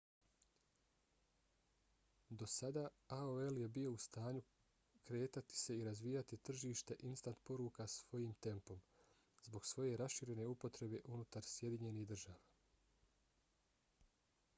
do sada aol je bio u stanju kretati se i razvijati tržište instant poruka svojim tempom zbog svoje raširene upotrebe unutar sjedinjenih država